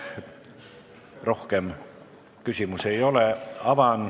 Rohkem küsimusi ei ole.